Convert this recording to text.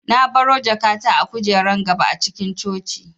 Na baro jakata a kujerar gaba a cikin coci